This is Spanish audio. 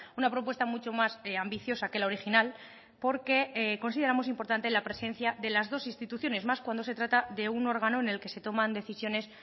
una propuesta mucho más ambiciosa que la original porque consideramos importante la presencia de las dos instituciones más cuando se trata de un órgano en el que se toman decisiones